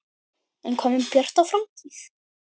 En hvað með Bjarta framtíð?